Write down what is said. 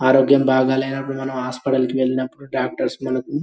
ఆరోగ్యం బాగా లేనప్పుడు మనం హాస్పిటల్ కి వెళ్ళినప్పుడు డాక్టర్స్ మనకు --